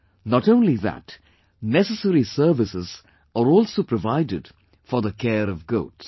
Not only that, necessary services are also provided for the care of goats